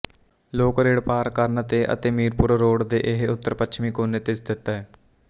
lake road ਪਾਰ ਕਰਨ ਤੇ ਅਤੇ ਮੀਰਪੁਰ ਰੋਡ ਦੇ ਇਹ ਉੱਤਰਪੱਛਮੀ ਕੋਨੇ ਤੇ ਸਥਿਤ ਹੈ